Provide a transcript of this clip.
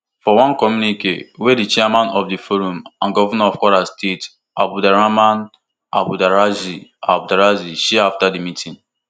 for one communique wey di chairman of di forum and govnor of kwara state abdulrahman abdulrazaq abdulrazaq share afta di meeting